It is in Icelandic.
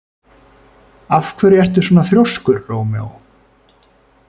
Af hverju ertu svona þrjóskur, Rómeó?